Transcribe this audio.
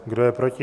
Kdo je proti?